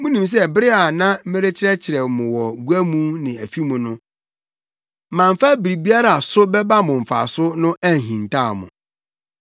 Munim sɛ bere a na merekyerɛkyerɛ mo wɔ gua mu ne afi mu no, mamfa biribiara a so bɛba mo mfaso no anhintaw mo.